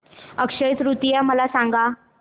अक्षय तृतीया मला सांगा